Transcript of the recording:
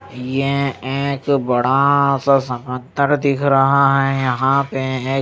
ये एक बड़ा सा समंदर दिख रहा है यहां पे यें--